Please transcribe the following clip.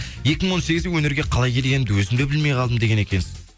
екі мың он сегізде өнерге қалай келгенімді өзім де білмей қалдым деген екенсіз